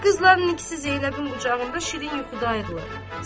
Qızların ikisi Zeynəbin qucağında şirin yuxudayıdılar.